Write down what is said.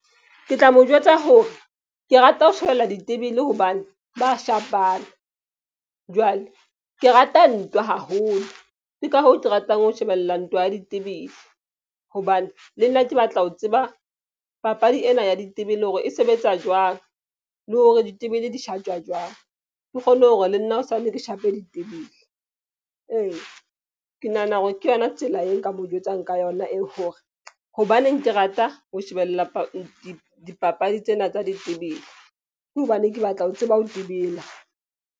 Ke tla mo jwetsa hore ke rata ho shebella ditebele. Hobane ba shapana jwale ke rata ntwa haholo. Ke ka hoo ke ratang ho shebella ntwa ya ditebele. Hobane le nna ke batla ho tseba papadi ena ya ditebele hore e sebetsa jwang le hore ditebele di shatjwa jwang. Ke kgone hore le nna hosane ke shape ditebele ee, ke nahana hore ke yona tsela e nka mo jwetsang ka yona e hore hobaneng ke rata ho shebella dipapadi tsena tsa ditebele. Ke hobane ke batla ho tseba ho tebela.